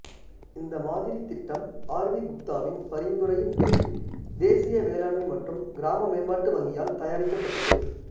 இந்த மாதிரி திட்டம் ஆர் வி குப்தாவின் பரிந்துரையின் பேரில் தேசிய வேளாண்மை மற்றும் கிராம மேம்பாட்டு வங்கியால் தயாரிக்கப்பட்டது